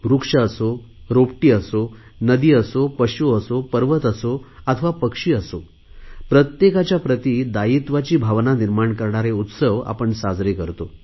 वृक्ष असो रोपटी असो नदी असो पशु असो पर्वत असो अथवा पक्षी असो प्रत्येकाच्या प्रती दायित्वाची भावना निर्माण करणारे उत्सव आपण साजरे करतो